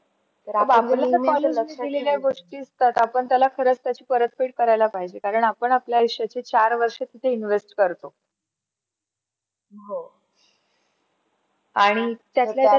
केलेल्या गोष्टी असतात आपण त्याला खरंच परत फेड करायला पाहिजे कारण आपण आपल्या आयुष्याचा चार वर्षा तिथे invest करतो. आणि त्यातल्या त्यात .